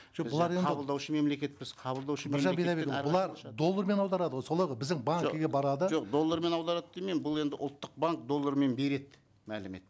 жоқ бұлар енді қабылдаушы мемлекетпіз қабылдаушы біржан бидайбекұлы бұлар доллармен аударады ғой солай ғой біздің банкіге барады жоқ доллармен аударады демеймін бұл енді ұлттық банк доллармен береді мәлімет